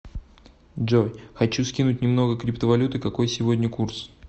джой хочу скинуть немного криптовалюты какой сегодня курс